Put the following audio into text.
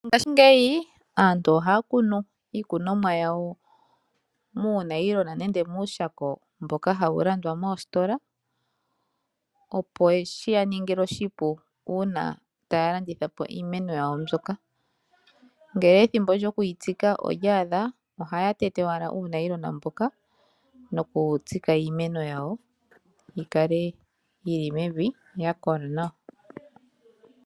Ngashingeyi aantu ohaya kunu iikunomwa yawo muunayilona nenge muushako mboka hawu landwa moositola, opo shi yaningile oshipu uuna taya landithapo iimeno yawo mbyoka. Ngele ethimbo lyoku yitsika olyaadha ohaya tete owala uunayilona mboka noku tsika iimeno yawo yikale yili mevi yakola nawa.